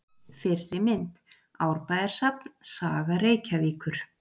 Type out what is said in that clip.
Fyrri mynd: Árbæjarsafn: Saga Reykjavíkur.